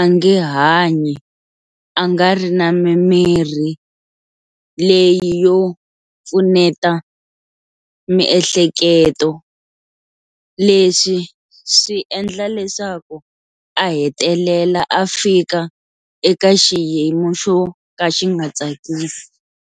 a nge hanyi a nga ri na mimirhi leyi yo pfuneta miehleketo, leswi swi endla leswaku a hetelela a fika eka xiyimo xo ka xi nga tsakisi.